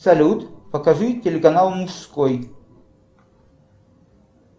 салют покажи телеканал мужской